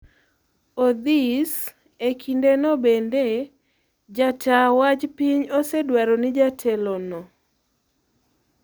Odhis e kindeno bende, Jata wach piny osedwaro ni jatelo no